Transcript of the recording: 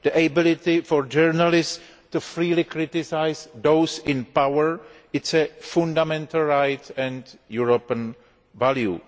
The ability of journalists to freely criticise those in power is a fundamental right and a European value.